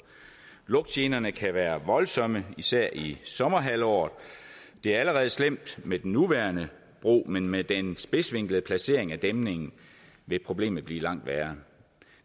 lugtgenerne kan være voldsomme især i sommerhalvåret det er allerede slemt med den nuværende bro men med den spidsvinklede placering af dæmningen vil problemet blive langt værre